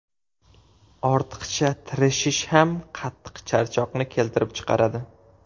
Ortiqcha tirishish ham qattiq charchoqni keltirib chiqaradi.